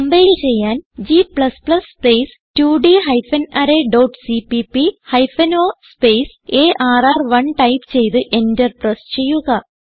compile ചെയ്യാൻ g space 2ഡ് hyphen array dot CPP hyphen o space ആർ1 type ചെയ്ത് എന്റർ പ്രസ് ചെയ്യുക